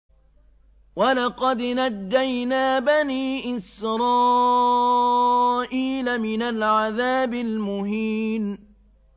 وَلَقَدْ نَجَّيْنَا بَنِي إِسْرَائِيلَ مِنَ الْعَذَابِ الْمُهِينِ